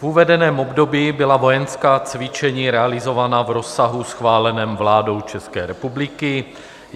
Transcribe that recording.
V uvedeném období byla vojenská cvičení realizována v rozsahu schváleném vládou České republiky.